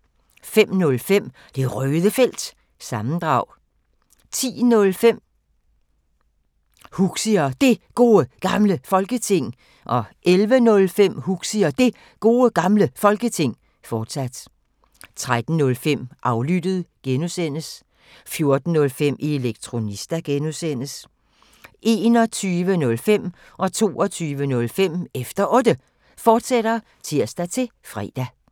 05:05: Det Røde Felt – sammendrag 10:05: Huxi og Det Gode Gamle Folketing 11:05: Huxi og Det Gode Gamle Folketing, fortsat 13:05: Aflyttet G) 14:05: Elektronista (G) 21:05: Efter Otte, fortsat (tir-fre) 22:05: Efter Otte, fortsat (tir-fre)